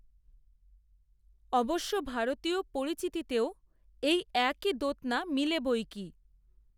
অবশ্য ভারতীয় পরিচিতিতেও, এই, একই দ্যোতনা, মিলে বই কী